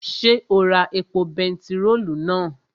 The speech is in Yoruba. Ṣé o ra epo bentiróòlù náà?